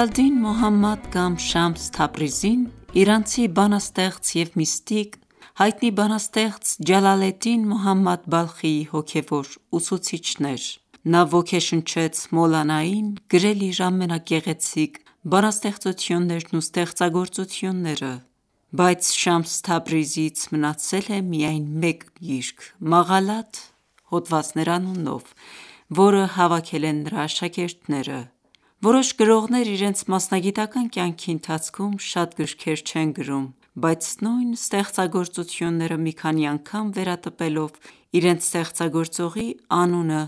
ալ–Դին Մոհամմադ կամ Շամս Թաբրիզին, իրանցի բանաստեղծ և միստիկ, հայտնի բանաստեղծ Ջալալեդդին Մոհամմադ Բալխիի հոգևոր ուսուցիչն էր։ Նա ոգեշնչեց Մոլանային գրել իր ամենագեղեցիկ բանաստեղծություններն ու ստեղծագործությունները: Բայց Շամս Թաբրիզիից մնացել է միայն մեկ գիրք՝ «Մաղալաթ» (Հոդվածներ) անունով, որը հավաքել են նրա աշակերտները։ Որոշ գրողներ իրենց մասնագիտական ​​կյանքի ընթացքում շատ գրքեր չեն գրում, բայց նույն ստեղծագործությունները մի քանի անգամ վերատպելով իրենց ստեղծագործողի անունը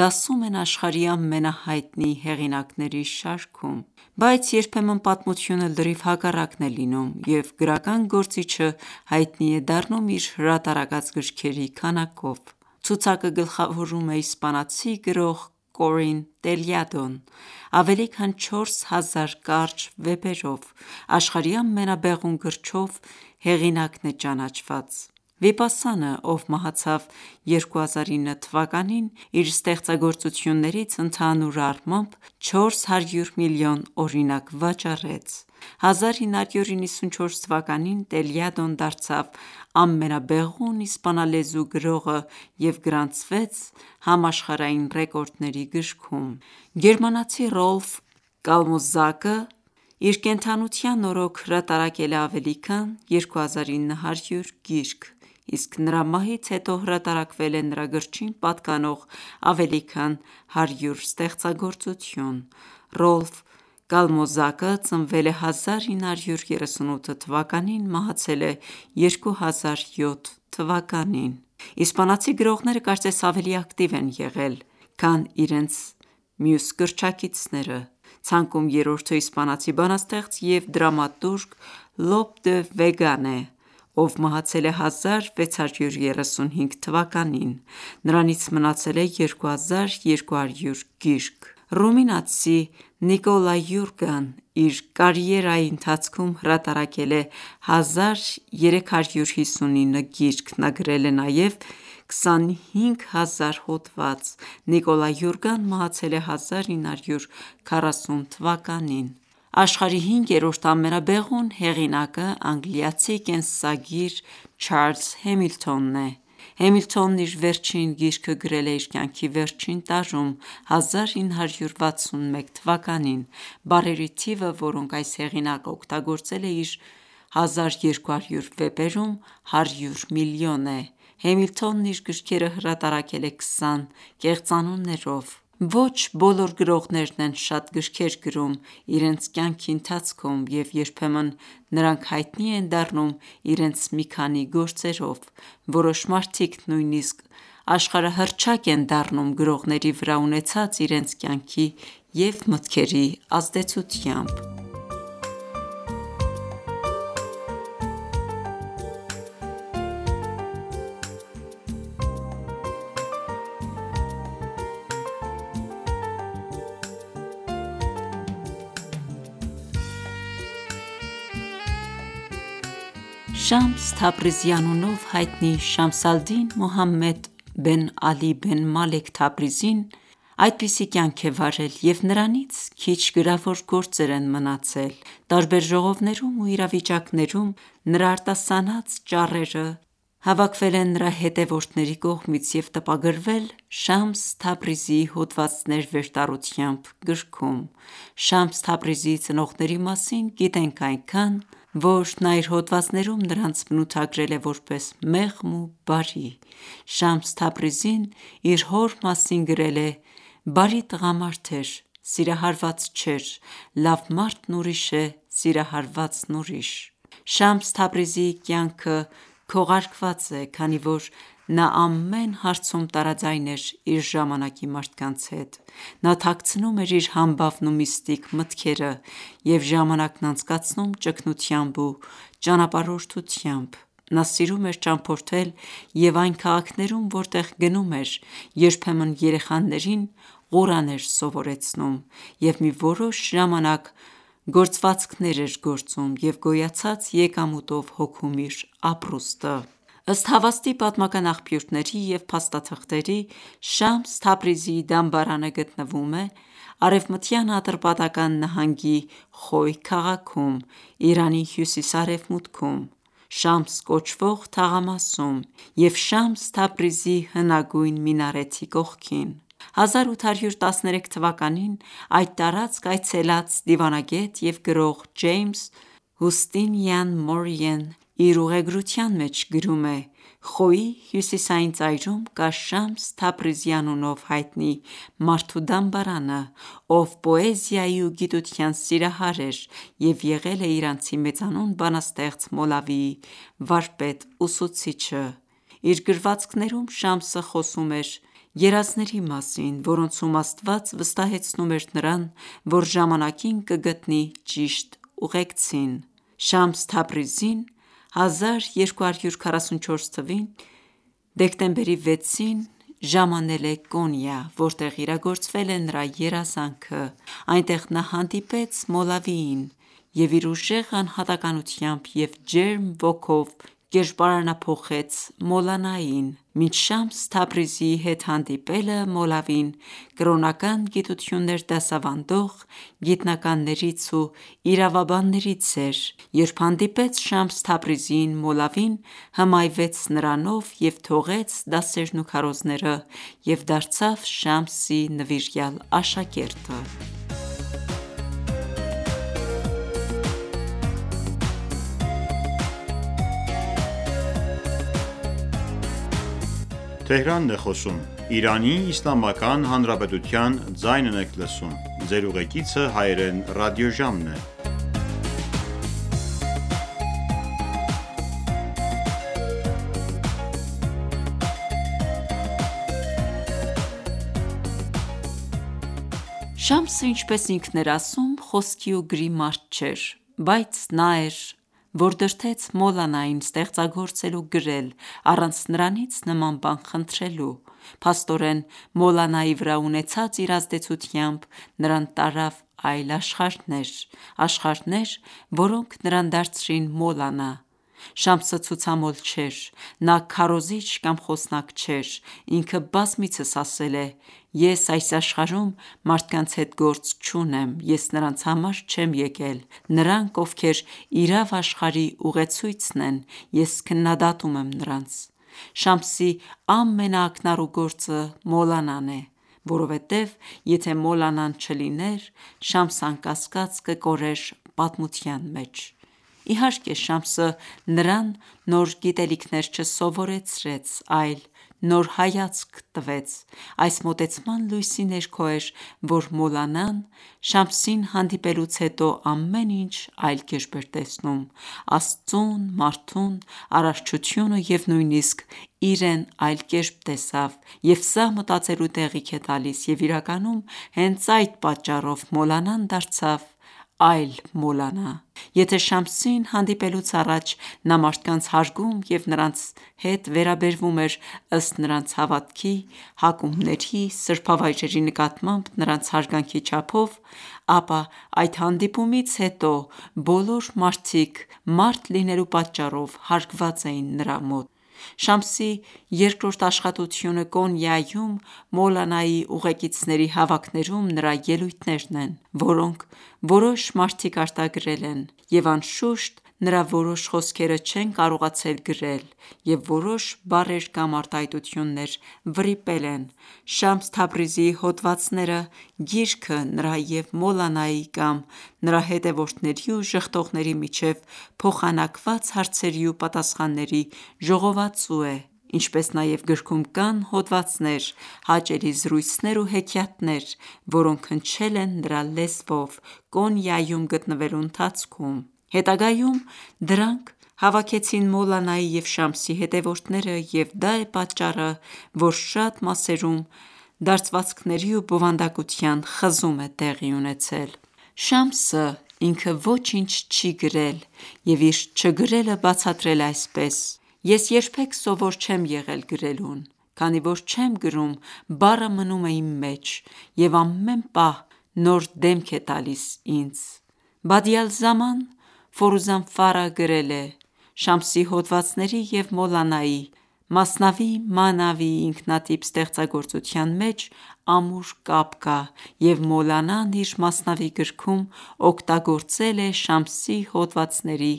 դասում են աշխարհի ամենահայտնի հեղինակների շարքում։ Բայց երբեմն պատմությունը լրիվ հակառակն է լինում, և գրական գործիչը հայտնի է դառնում իր հրատարակած գրքերի քանակով։ Ցուցակը գլխավորում է իսպանացի գրող Կորին Տելյադոն՝ ավելի քան 4000 կարճ վեպերով, աշխարհի ամենաբեղուն գրչով հեղինակն է ճանաչված։ Վիպասանը, ով մահացավ 2009 թվականին, իր ստեղծագործություններից ընդհանուր առմամբ 400 միլիոն օրինակ վաճառեց։ 1994 թվականին Տելյադոն դարձավ ամենաբեղուն իսպանալեզու գրողը և գրանցվեց համաշխարհային ռեկորդների գրքում: Գերմանացի Ռոլֆ Կալմոզակն իր կենդանության օրոք հրատարակել է ավելի քան 2900 գիրք, իսկ նրա մահից հետո հրատարակվել է նրա գրչին պատկանող ավելի քան 100 ստեղծագործություն։ Ռոլֆ Կալմոզակը ծնվել է 1938 թվականին, մահացել է 2007 թվականին։ Իսպանացի գրողները կարծես ավելի ակտիվ են եղել, քան իրենց գրչակիցներ: Ցանկում երրորդը իսպանացի բանաստեղծ և դրամատուրգ Լոփ դե Վեգան է, ով մահացել է 1635 թվականին: Նրանից մնացել է 2200 գիրք։ Ռումինացի Նիկոլա Յուրգան իր կարիերայի ընթացքում հրատարակել է 1359 գիրք: Նա գրել է նաև 25000 հոդված։ Նիկոլա Յուրգան մահացել է 1940 թվականին: Աշխարհի հինգերորդ ամենաբեղուն հեղինակը անգլիացի կենսագիր Չարլզ Հեմիլթոնն է։ Հեմիլթոնն իր վերջին գիրքը գրել է իր կյանքի վերջին տարում՝ 1961 թվականին։ Բառերի թիվը, որոնք այս հեղինակն օգտագործել է իր 1200 վեպերում, 100 միլիոն է։ Հեմիլթոնն իր գրքերը հրատարակել է 20 կեղծանուններով։ Ոչ բոլոր գրողներն են շատ գրքեր գրում իրենց կյանքի ընթացքում, և երբեմն նրանք հայտնի են դառնում իրենց մի քանի գործերով: Որոշ մարդիկ նույնիսկ աշխարհահռչակ են դառնում գրողների վրա ունեցած իրենց կյանքի և մտքերի ազդեցությամբ: Շամս Թաբրիզի անունով հայտնի Շամս ալ-Դին Մուհամմադ Բեն Ալի Բեն Մալեք Թաբրիզին (1186-1247թթ.) այդպիսի կյանք է վարել և նրանից քիչ գրավոր գործեր են մնացել։ Տարբեր ժողովներում ու իրավիճակներում նրա արտասանած ճառերը հավաքվել են նրա հետևորդների կողմից և տպագրվել «Շամս Թաբրիզիի հոդվածներ» վերտառությամբ գրքում: Շամս Թաբրիզիի ծնողների մասին գիտենք այնքան, որ նա իր հոդվածներում նրանց բնութագրել է որպես մեղմ ու բարի։ Շամս Թաբրիզին իր հոր մասին գրել է.- «Բարի տղամարդ էր... սիրահարված չէր, լավ մարդն ուրիշ է, սիրահարվածն ուրիշ»: Շամս Թաբրիզիի կյանքը քողարկված է, քանի որ նա ամեն հարցում տարաձայն էր իր ժամանակի մարդկանց հետ։ Նա թաքցնում էր իր համբավն ու միստիկ մտքերը և ժամանակն անցկացնում ճգնությամբ ու ճանապարհորդությամբ։ Նա սիրում էր ճամփորդել և այն քաղաքներում, որտեղ գնում էր, երբեմն երեխաներին Ղուրան էր սովորեցնում և մի որոշ ժամանակ գործվածքներ էր գործում և գոյացած եկամուտով հոգում իր ապրուստը։ Ըստ հավաստի պատմական աղբյուրների և փաստաթղթերի, Շամս Թաբրիզիի դամբարանը գտնվում է Արևմտյան Ատրպատական նահանգի Խոյ քաղաքում՝ Իրանի հյուսիս-արևմուտքում, Շամս կոչվող թաղամասում և Շամս Թաբրիզի հնագույն մինարեթի կողքին։ 1813 թվականին այդ տարածք այցելած դիվանագետ և գրող Ջեյմս Հուստինիան Մորիյեն իր ուղեգրության մեջ գրում է. «Խոյի հյուսիսային ծայրում կա Շամս Թաբրիզի անունով հայտնի մարդու դամբարանը, ով պոեզիայի ու գիտության սիրահհար էր և եղել է իրանցի մեծանուն բանաստեղծ Մոլավիի վարպետ-ուսուցիչը: Իր գրվածքներում Շամսը խոսում էր երազների մասին, որոնցում Աստված վստահեցնում էր նրան, որ ժամանակին կգտնի ճիշտ ուղեկցին: Շամս Թաբրիզին1244թ. դեկտեմբերի 6-ին, ժամանել է Կոնիա, որտեղ իրագործվել է նրա երազանքը։ Այնտեղ նա հանդիպեց Մոլավիին և իր ուժեղ անհատականությամբ և ջերմ ոգով կերպարանափոխեց Մոլանային: Մինչ Շամս Թաբրիզիի հետ հանդիպելը Մոլավին կրոնական գիտություններ դասավանդող գիտնականներից ու իրավաբաններից էր, երբ հանդիպեց Շամս Թաբրիզիին, Մոլավին հմայվեց նրանով և թողեց դասերն ու քարոզները և դարձավ Շամսի նվիրյալ աշակերտը։ Շամսը, ինչպես ինքն էր ասում, խոսքի ու գրի մարդ չէր, բայց նա էր, որ դրդեց Մոլանային ստեղծագործել ու գրել՝ առանց նրանից նման բան խնդրելու։ Փաստորեն, Մոլանայի վրա ունեցած իր ազդեցությամբ, նրան տարավ այլ աշխարհներ։ Աշխարհներ, որոնք նրան դարձրին Մոլանա։ Շամսը ցուցամոլ չէր։ Նա քարոզիչ կամ խոսնակ չէր։ Ինքը բազմիցս ասել է. «ես այս աշխարհում մարդկանց հետ գործ չունեմ, ես նրանց համար չեմ եկել: Նրանք, ովքեր իրավ աշխարհի ուղեցույցն են, ես քննադատում եմ նրանց»: Շամսի ամենաակնառու գործը Մոլանան է, որովհետև եթե Մոլանան չլիներ, Շամսն անկասկած կկորեր պատմության մեջ։ Իհարկե, Շամսը նրան նոր գիտելիքներ չսովորեցրեց, այլ նոր հայացք տվեց։ Այս մոտեցման լույսի ներքո էր, որ Մոլանան Շամսին հանդիպելուց հետո ամեն ինչ այլ կերպ էր տեսնում։ Աստծուն, մարդուն, արարչությունը և նույնիսկ իրեն այլ կերպ տեսավ, և սա մտածելու տեղիք է տալիս, և իրականում հենց այդ պատճառով Մոլանան դարձավ այլ Մոլանա: Եթե ​​Շամսին հանդիպելուց առաջ նա մարդկանց հարգում և նրանց հետ վերաբերվում էր ըստ նրանց հավատքի, հակումների, սրբավայրերի նկատմամբ նրանց հարգանքի չափով, ապա այդ հանդիպումից հետո բոլոր մարդիկ մարդ լինելու պատճառով, հարգված էին նրա մոտ: Շամսի երկրորդ աշխատությունը Կոնիայում Մոլանայի ուղեկիցների հավաքներում նրա ելույթներն են, որոնք որոշ մարդիկ արտագրել են և, անշուշտ, նրա որոշ խոսքերը չեն կարողացել գրել, և որոշ բառեր կամ արտահայտություններ վրիպել են։ «Շամս Թաբրիզի հոդվածները» գիրքը նրա և Մոլանայի կամ նրա հետևորդների ու ժխտողների միջև փոխանակված հարցերի ու պատասխանների ժողովածու է, ինչպես նաև գրքում կան հոդվածներ, հաճելի զրույցներ ու հեքիաթներ, որոնք հնչել են նրա լեզվով Կոնիայում գտնվելու ընթացքում։ Հետագայում դրանք հավաքեցին Մոլանայի և Շամսի հետևորդները, և դա է պատճառը, որ շատ մասերում դարձվածքների ու բովանդակության խզում է տեղի ունեցել: Շամսը՝ինքը, ոչինչ չի գրել և իր չգրելը բացատրել է այսպես. «Ես երբեք սովոր չեմ եղել գրելուն: Քանի որ չեմ գրում, բառը մնում է իմ մեջ և ամեն պահ նոր դեմք է տալիս ինձ»։ Բադի ալ-Զաման Ֆորուզանֆարը գրել է՝ Շամսի հոդվածների և Մոլանայի «Մասնավի Մաանավի» ինքնատիպ ստեղծագործության միջև ամուր կապ կա, և Մոլանան իր «Մասնավի» գրքում օգտագործել է Շամսի հոդվածների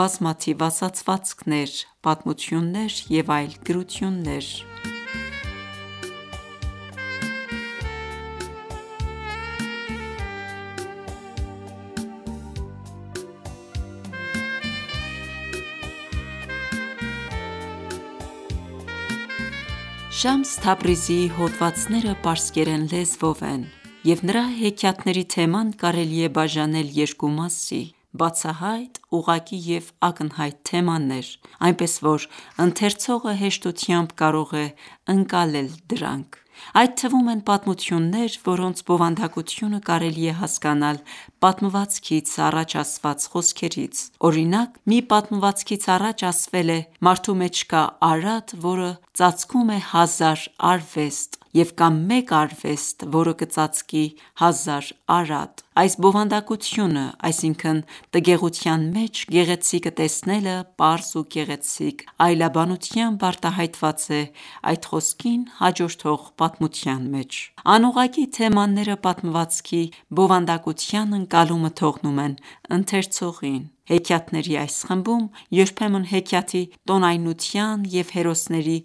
բազմաթիվ ասացվածքներ, պատմություններ և այլ գրություններ: Շամս Թաբրիզիի հոդվածները պարսկերեն լեզվով են, և նրա հեքիաթների թեման կարելի է բաժանել երկու մասի։ Բացահայտ, ուղղակի և ակնհայտ թեմաներ, այնպես, որ ընթերցողը հեշտությամբ կարող է ընկալել դրանք: Այդ թվում են պատմություններ, որոնց բովանդակությունը կարելի է հասկանալ պատմվածքից առաջ ասված խոսքերից: Օրինակ, մի պատմվածքից առաջ ասվել է՝ մարդու մեջ կա արատ, որը ծածկում է հազար արվեստ և կա մեկ արվեստ, որը կծածկի հազար արատ։ Այս բովանդակությունը՝ այսինքն տգեղության մեջ գեղեցիկը տեսնելը պարզ ու գեղեցիկ այլաբանությամբ արտահայտված է այդ խոսքին հաջորդող պատմության մեջ: Անուղղակի թեմաները պատմվածքի բովանդակության ընկալումը թողնում են ընթերցողին: Հեքիաթների այս խմբում երբեմն հեքիաթի տոնայնության և հերոսների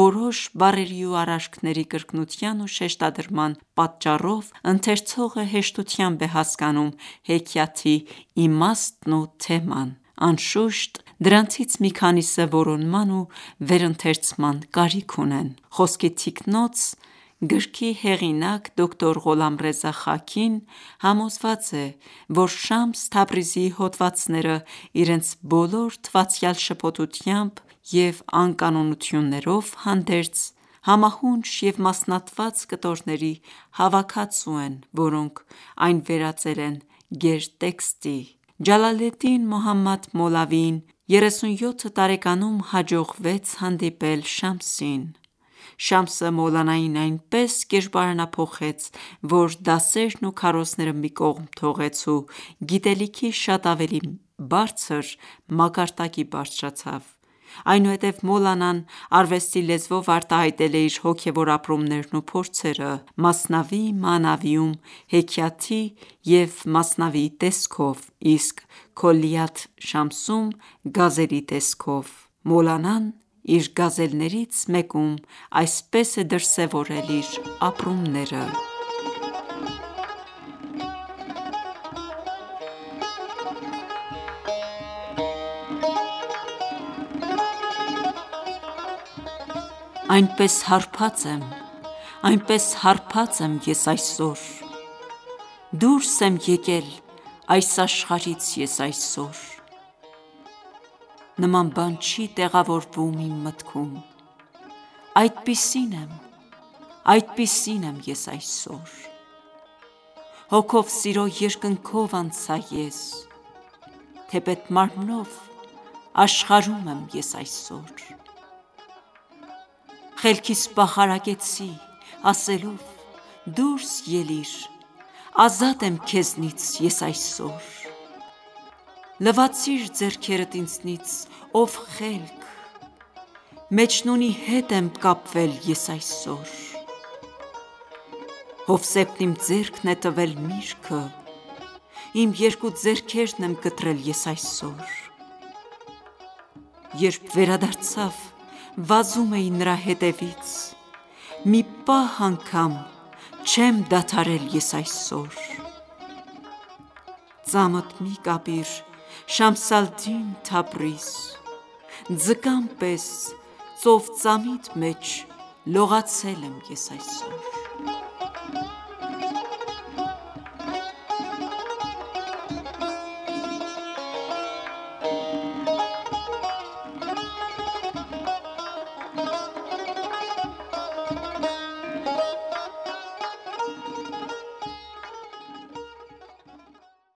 որոշ բառերի ու արարքների կրկնության ու շեշտադրման պատճառով, ընթերցողը հեշտությամբ է հասկանում հեքիաթի իմաստն ու թեման: Անշուշտ, դրանցից մի քանիսը որոնման ու վերընթերցման կարիք ունեն: «Խոսքի թիկնոց» գրքի հեղինակ՝ դկտ․ Ղոլամռեզա Խաքին համոզված է, որ Շամս Թաբրիզիի հոդվածները, իրենց բոլոր թվացյալ շփոթությամբ և անկանոնություններով հանդերձ, համահունչ և մասնատված կտորների հավաքածու են, որոնք այն վերածել են գերտեքստի: Ջալալեդդին Մոհամմադ Մոլավիին 37 տարեկանում հաջողվեց հանդիպել Շամսին։ Շամսը Մոլանային այնպես կերպարանափոխեց, որ դասերն ու քարոզները մի կողմ թողեց ու գիտելիքի շատ ավելի բարձր մակարդակի բարձրացավ: Այնուհետև Մոլանան արվեստի լեզվով արտահայտել է իր հոգևոր ապրումներն ու փորձերը՝ «Մասնավի մանավի»-ում՝ հեքիաթի և մասնավիի տեսքով, իսկ «Քոլիաթ Շամս»-ում՝ գազելի տեսքով։ Մոլանան իր գազելներից մեկում այսպես է դրսևորել իր ապրումները. Այնպես հարբած եմ, այնպես հարբած եմ ես այսօր, Դուրս եմ եկել այս աշխարհից ես այսօր: Նման բան չի տեղավորվում իմ մտքում, Այդպիսին եմ, այդպիսին եմ ես այսօր: Հոգով սիրո երկնքով անցա ես, Թեպետ մարմնով աշխարհում եմ ես այսօր: Խելքիս պախարակեցի, ասելով՝ Դուրս ելիր, ազատ եմ քեզնից ես այսօր: Լվացի՛ր ձեռքերդ ինձնից, ո՛վ խելք, Մեջնունի հետ եմ կապվել ես այսօր: Հովսեփն իմ ձեռքն է տվել միրգը, Իմ երկու ձեռքերն եմ կտրել ես այսօր: Երբ վերադարձավ, վազում էի նրա հետևից, Մի պահ անգամ չեմ դադարել ես այսօր: Ծամդ մի կապիր Շամս ալ -Դին Թաբրիզ, Ձկան պես ծով ծամիդ մեջ լողացել եմ ես այսօր: